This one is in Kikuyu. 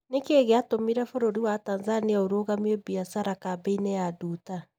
Nĩ kĩĩ gĩatũmire bũrũri wa Tanzania ũrũgamie biacara kambĩ-inĩ ya Nduta?